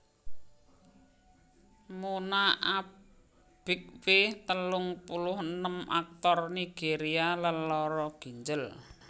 Muna Obiekwe telung puluh enem aktor Nigéria lelara ginjel